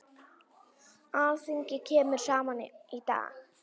Alþingi kemur saman í dag.